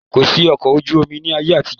Kòsí ọkọ̀ ojú omi ni ayé àtijọ́